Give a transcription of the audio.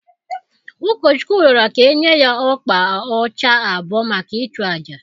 Ụkọchukwu rịọrọ ka e nye ya ọkpa ọcha abụọ maka ịchụ àjà